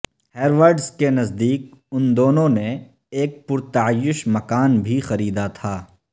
Harrods کے نزدیک ان دونوں نے ایک پر تعیش مکان بھی خریدا تھا